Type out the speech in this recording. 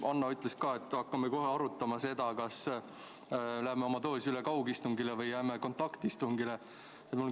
Hanno ütles, et me hakkame kohe arutama, kas me läheme oma töös üle kaugistungile või jääme kontaktistungile.